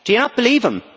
Do you not believe him?